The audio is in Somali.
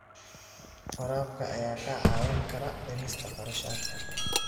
Waraabka ayaa kaa caawin kara dhimista kharashaadka.